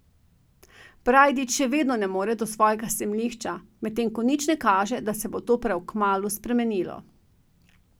Brajdič še vedno ne more do svojega zemljišča, medtem ko nič ne kaže, da se bo to prav kmalu spremenilo.